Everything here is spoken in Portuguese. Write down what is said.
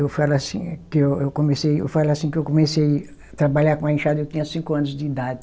Eu falo assim que eu eu comecei, eu falo assim que eu comecei trabalhar com a enxada, eu tinha cinco anos de idade.